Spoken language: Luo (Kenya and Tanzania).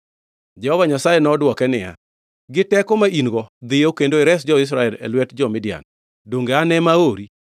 Jehova Nyasaye nodwoke niya, “Gi teko ma in-go, dhiyo kendo ires jo-Israel e lwet jo-Midian. Donge an ema aori?”